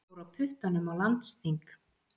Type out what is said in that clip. Fór á puttanum á landsþing